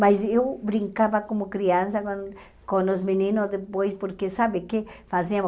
Mas eu brincava como criança com com os meninos depois, porque sabe o que fazíamos?